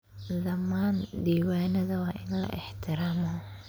Dhammaan diiwaanada waa in la ixtiraamo.